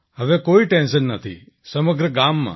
હવે કોઈ ટેન્શન નથી સમગ્ર ગામમાં